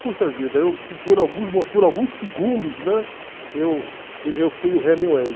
Puxa vida, por alguns por alguns segundos, né, eu e eu fui o Hemingway.